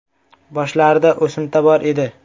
Boshlarida o‘simta bor edi.